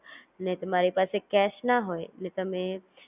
તમારે payment કરવા માટે કઈ નહિ,